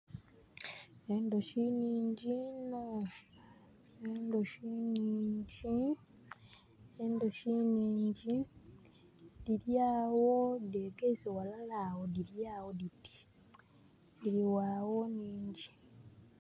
Endhuki nhingi iinho, endhuki nhingi, enduki nhingi, dhiri agho dhe gaise ghalala agho dhiragho diti. Dhiri ghagho nhingi.